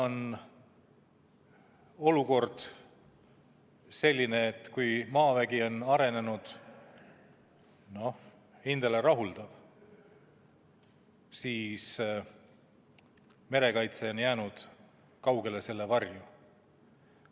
Olukord on selline, et kui maavägi on arenenud, noh, hindele rahuldav, siis merekaitse on jäänud kaugele selle varju.